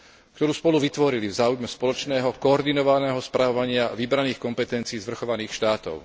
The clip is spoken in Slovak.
ktorú spolu vytvorili v záujme spoločného koordinovaného spravovania vybraných kompetencií zvrchovaných štátov.